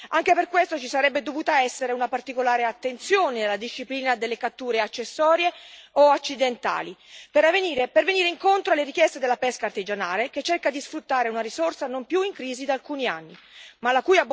Anche per questo ci sarebbe dovuta essere una particolare attenzione alla disciplina delle catture accessorie o accidentali, per venire incontro alle richieste della pesca artigianale, che cerca di sfruttare una risorsa non più in crisi da alcuni anni, ma la cui abbondanza sta mettendo in ginocchio decine e decine di imprese.